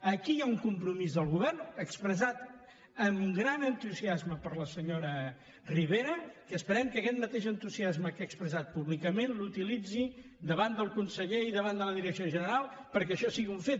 aquí hi ha un compromís del govern expressat amb gran entusiasme per la senyora ribera i esperem que aquest mateix entusiasme que ha expressat públicament l’utilitzi davant del conseller i davant de la direcció general perquè això sigui un fet